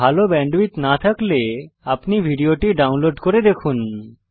ভাল ব্যান্ডউইডথ না থাকলে আপনি ভিডিওটি ডাউনলোড করে দেখুন